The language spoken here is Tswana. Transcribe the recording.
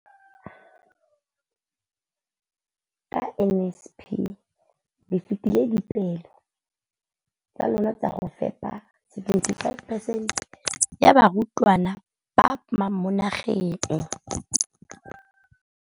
Ka NSNP le fetile dipeelo tsa lona tsa go fepa masome a supa le botlhano a diperesente ya barutwana ba mo nageng.